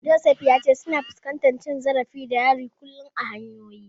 Joseph ya ce suna fuskantar cin zarafi da hari kullum a hanyoyi.